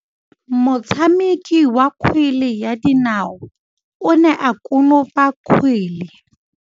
Motshameki wa kgwele ya dinaô o ne a konopa kgwele.